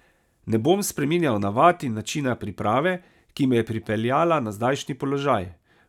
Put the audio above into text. Ne bom spreminjal navad in načina priprave, ki me je pripeljala na zdajšnji položaj.